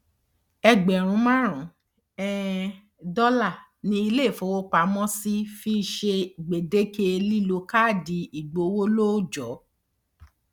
ẹgbẹrún márùnún um dọlà ni ilé ìfowópamọsí fi ń ṣe gbèdéke lílo káàdì ìgbowó lóòjọ